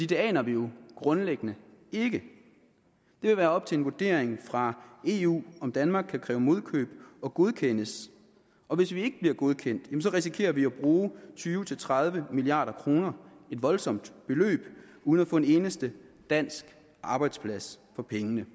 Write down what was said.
det aner vi jo grundlæggende ikke det vil være op til en vurdering fra eu om danmark kan kræve modkøb og godkendes og hvis vi ikke bliver godkendt risikerer vi at bruge tyve til tredive milliard kroner et voldsomt beløb uden at få en eneste dansk arbejdsplads for pengene